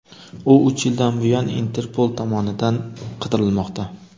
U uch yildan buyon Interpol tomonidan qidirilmoqda.